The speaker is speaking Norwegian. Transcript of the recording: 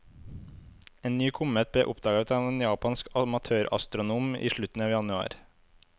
En ny komet ble oppdaget av en japansk amatørastronom i slutten av januar.